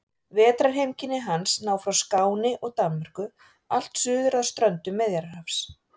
Vetrarheimkynni hans ná frá Skáni og Danmörku allt suður að ströndum Miðjarðarhafs.